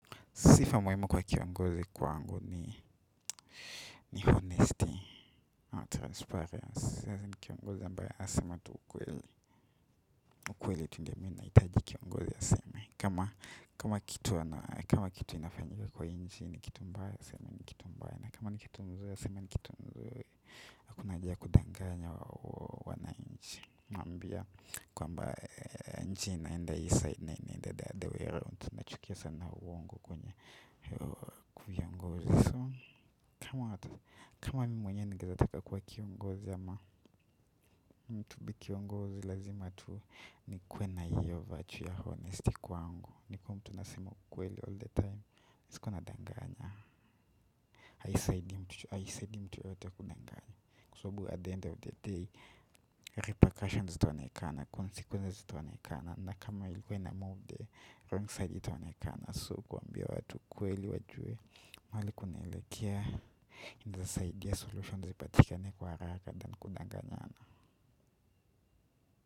Sifa muhima kwa kiongozi kwangu ni honesty and transparency Kiongozi mbaya asema tu ukweli ukweli tu ndo minaitaji kiongozi asema kama kitu inafanyika kwa inchi ni kitu mbaya asema ni kitu mbaya kama kitu mzuri asema ni kitu mzuri haKuna haja kudanganya wa wanainchi aMambia kwamba inchi inaenda hii side na inaenda the other way around Tuknachukia sana uongo kwenye kiongozi. Kama mimi mwenye nikizataka kwa kongozi ama mtu kiongozi lazima tu nikuwe na hiyo virtue ya honesty kwangu. Nikuwe mtu nasema ukweli all the time. Sikuwa na danganya, haisaidi mtu yote kukunanganya. Kwa sababu at the end of the day, repercussions zitaonekana, consequences zitaonekana. Na kama ilikuwa ianmove, wrongside itaonekana. So kuambia watu kweli wajue mahali kunelekea ndasaidi ya solutions ipatika ni kwa haraka than kundanganyana.